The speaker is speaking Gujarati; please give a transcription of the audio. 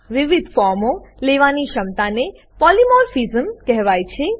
વિવિધ ફોર્મો લેવાની ક્ષમતાને પોલિમોર્ફિઝમ પોલીમોર્ફીઝમ કહેવાય છે